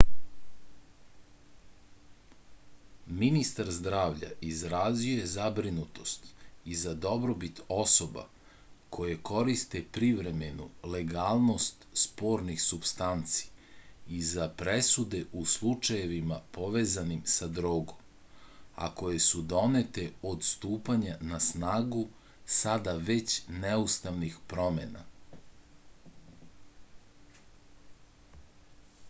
ministar zdravlja izrazio je zabrinutost i za dobrobit osoba koje koriste privremenu legalnost spornih supstanci i za presude u slučajevima povezanim sa drogom a koje su donete od stupanja na snagu sada već neustavnih promena